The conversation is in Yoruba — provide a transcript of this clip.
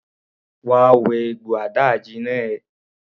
Wá wẹ egbò àdáàjina ẹ!